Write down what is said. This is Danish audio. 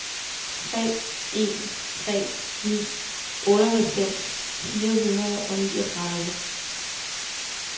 tre en tre ni otteoghalvfems fire hundrede og niogtredive